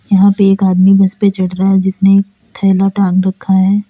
यहां पे एक आदमी बस पर चढ़ रहा है जिसे एक थैला टांग रखा है।